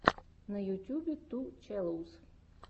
на ютьюбе ту челэуз